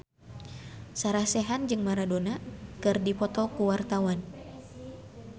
Sarah Sechan jeung Maradona keur dipoto ku wartawan